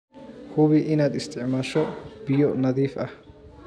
Hubi inaad isticmaasho biyo nadiif ah.